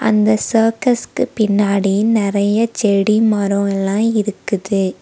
அந்த சர்க்கஸ்க்கு பின்னாடி நறைய செடி மரொ எல்லா இருக்குது.